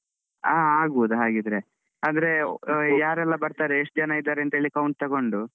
ಆಗ್ಬಹುದು ಹಾಆಗ್ಬಹುದು ಹಾಗಿದ್ರೆ ಅಂದ್ರೆ ಯಾರೆಲ್ಲ ಬರ್ತಾರೆ ಎಷ್ಟ್ ಜನ ಇದ್ದಾರೆ ಅಂತ count ತೊಗೊಂಡು.